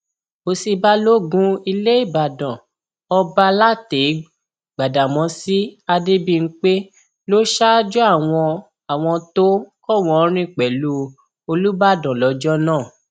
òsì balógun ilé ìbàdàn ọba látèégb gbadámọsí adébímpé ló ṣáájú àwọn àwọn tó kọwòorin pẹlú olùbàdàn lọjọ náà